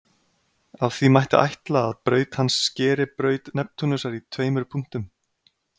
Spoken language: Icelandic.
af því mætti ætla að braut hans skeri braut neptúnusar í tveimur punktum